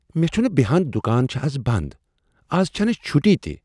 مے٘ چھُنہٕ بیہان دکان چُھ از بند۔ ! از چھنہٕ چھٹی تہِ۔